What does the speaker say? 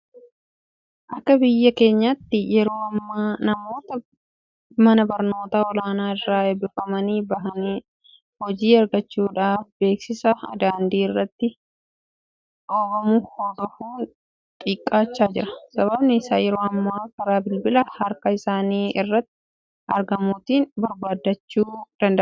Akka biyya keenyaatti yeroo ammaa namoonni mana barnootaa olaanoo irraa eebbifamanii bahan hojii argachuudhaaf beeksisa daandii irratti dhoobamu hordofuun xiqqaachaa jira. Sababni isaas yeroo ammaa karaa bilbila harka isaanii irratti argamuutiin barbaaddachuu danda'aniiru.